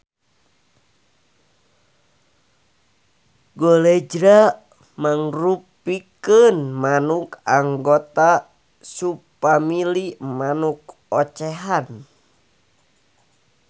Golejra mangrupikeun manuk anggota subfamili manuk ocehan